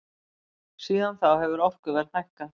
Síðan þá hefur orkuverð hækkað.